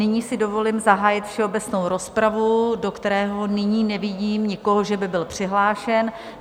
Nyní si dovolím zahájit všeobecnou rozpravu, do které nyní nevidím nikoho, že by byl přihlášen.